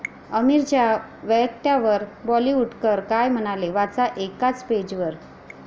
आमिरच्या वक्तव्यावर बॉलिवूडकर काय म्हणाले?, वाचा एकाच पेजवर